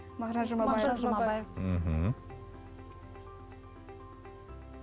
мағжан жұмабаев мағжан жұмабаев мхм